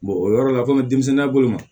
o yɔrɔ la komi denmisɛnya bolo ma